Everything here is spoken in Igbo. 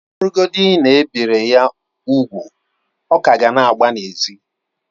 Ọ bụrụgodị na e biri ya úgwù, ọ ka ga na-agba n'ezi